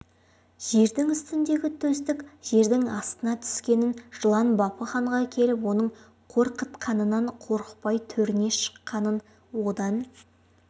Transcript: жердің үстіндегі төстік жердің астына түскенін жылан бапы ханға келіп оның қорқытқанынан қорықпай төріне шыққанын одан